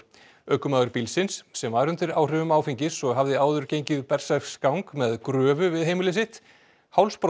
ökumaður bílsins sem var undir áhrifum áfengis og hafði áður gengið berserksgang með gröfu við heimili sitt